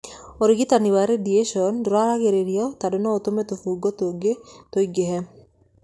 Ũrigitani wa radiation ndũraragĩrĩrio tondũ no ũtũme tũbungo tũngĩ tũingĩhe.